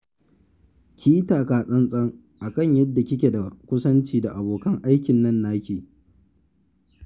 Ki yi taka-tsan-tsan a kan yadda kike da kusanci da abokin aikin nan naki